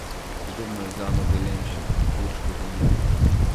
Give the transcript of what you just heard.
Podobno je z Ano Velenšek, Urško Žolnir ...